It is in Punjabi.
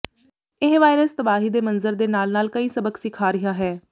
ਇਹ ਵਾਇਰਸ ਤਬਾਹੀ ਦੇ ਮੰਜ਼ਰ ਦੇ ਨਾਲ ਨਾਲ ਕਈ ਸਬਕ ਸਿਖਾ ਰਿਹਾ ਹੈ